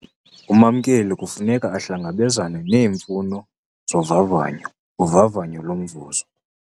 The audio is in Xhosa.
Umamkeli kufuneka ahlangabezane neemfuno zovavanyo, uvavanyo lomvuzo.